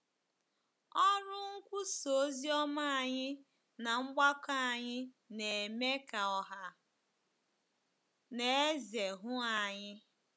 Ọrụ nkwusa ozioma anyị na mgbakọ anyị na-eme ka ọha na eze hụ anyị.